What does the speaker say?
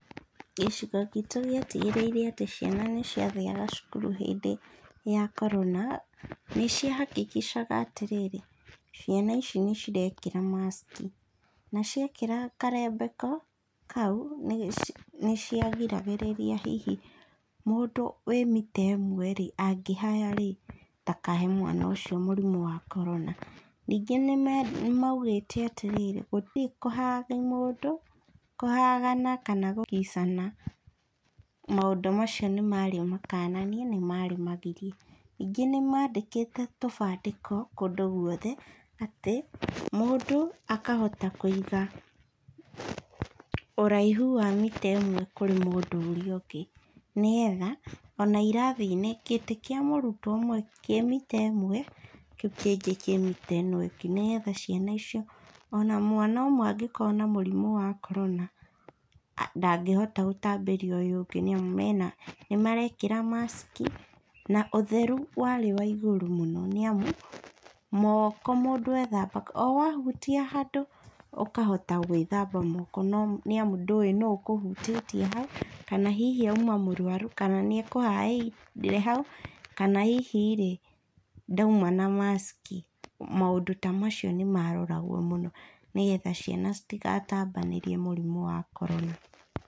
Gĩcigo gitũ gĩatigĩrĩire atĩ ciana nĩ ciathiaga cukuru hĩndĩ ya korona, nĩ cia hakikisha-ga atĩrĩrĩ, ciana ici nĩciraĩkĩra mask. Na ciekĩra karembeko kau, nĩ cia giragĩrĩria hihi mũndũ wĩ mita ĩmwe-rĩ, angĩhaya-rĩ, ndakahe mwana ũcio mũrimũ wa korona. Ningĩ nĩ maugĩte atĩ rĩrĩ, gũtirĩ kũ hug mũndũ, kũhug -ana kana gũkiss-ana, maũndũ macio nĩ marĩ makananie, nĩ marĩ magirie. Ningĩ nĩ maandĩkĩte tũbandĩko kũndũ gũothe, atĩ mũndũ akahota kũiga ũraihu wa mita ĩmwe kũrĩ mũndũ ũrĩa ũngĩ, nĩgetha, o na irathi-inĩ, gĩtĩ kĩa mũrutwo ũmwe kĩ mita ĩmwe, kĩu kĩngĩ kĩ mita ĩno ĩngĩ, nĩgetha ciana icio, o na mwana ũmwe angĩkorwo na mũrimũ wa korona, ndangĩhota gũtambĩria ũyũ ũngĩ nĩ amu, mena nĩ maraĩkĩra mask, na ũtheru warĩ wa igũrũ mũno nĩ amu, moko mũndũ ethambaga, o wahutia handũ ũkahota gwĩthamba moko, nĩ amu ndũĩ nũ ũkũhutĩtie hau, kana hihi auma mũrũaru, kana nĩ ekũhaĩrĩire hau, kana hihi-rĩ ndauma na mask. Maũndũ ta macio nĩ maaroragwo mũno, nĩgetha ciana citikatambanĩrie mũrimũ wa korona.